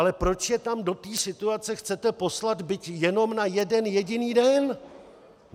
Ale proč je tam do této situace chcete poslat, byť jenom na jeden jediný den?